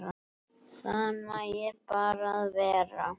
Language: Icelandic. Það nægir bara að vera.